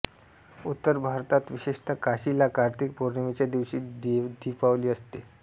उत्तर भारतात विशेषत काशीला कार्तिक पौर्णिमेच्या दिवशी देवदीपावली असते